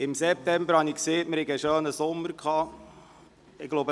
Im September sagte ich, wir hätten einen schönen Sommer gehabt.